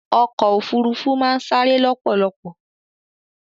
ọ̀kọ̀ ofúrúfú màà n sare lọ́pọ̀lọ̀pọ̀